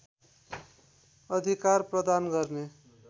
अधिकार प्रदान गर्ने